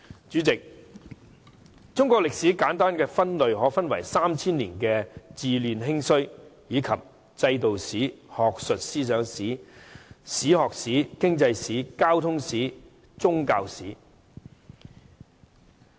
主席，中國歷史簡單分類可分為 3,000 年的治亂興衰，以及制度史、學術思想史、史學史、經濟史、交通史及宗教史。